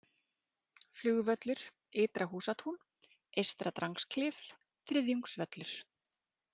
Flugvöllur, Ytra-Húsatún, Eystra-Drangsklif, Þriðjungsvöllur